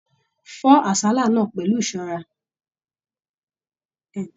Fọ àsálà náà pẹlú ìṣọrà!